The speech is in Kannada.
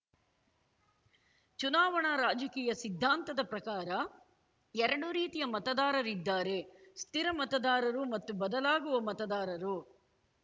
ಚುನಾವಣಾ ರಾಜಕೀಯ ಸಿದ್ಧಾಂತದ ಪ್ರಕಾರ ಎರಡು ರೀತಿಯ ಮತದಾರರಿದ್ದಾರೆ ಸ್ಥಿರ ಮತದಾರರು ಮತ್ತು ಬದಲಾಗುವ ಮತದಾರರು